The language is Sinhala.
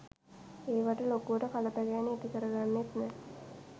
ඒවට ලොකුවට කලබැගෑනි ඇතිකරගන්නෙත් නෑ